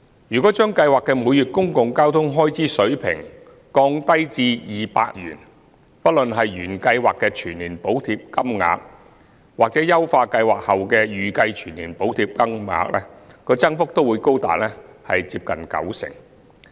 如將計劃的每月公共交通開支水平降低至200元，不論是原計劃的全年補貼金額，或優化計劃後的預計全年補貼金額，增幅都會高達接近九成。